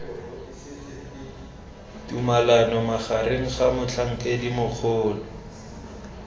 tumalano magareng ga motlhankedi mogolo